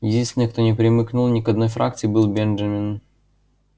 единственный кто не примкнул ни к одной фракции был бенджамин